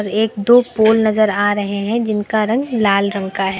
और एक दो पोल नजर आ रहे हैं जिनका रंग लाल रंग का है।